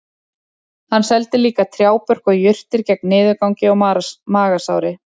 Hann seldi líka trjábörk og jurtir gegn niðurgangi og magasári